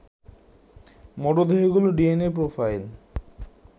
মরদেহগুলোর DNA profile